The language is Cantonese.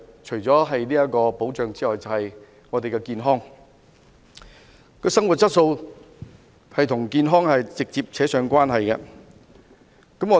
除了保障之外，就是健康，生活質素與健康直接相關。